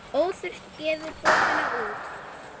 Óþurft gefur bókina út.